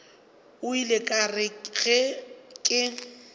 ile ka re ge ke